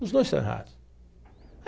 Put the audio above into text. Os dois estão errados.